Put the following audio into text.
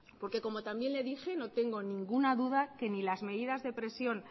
porque como también le dije no tengo ninguna duda que ni las medidas de presión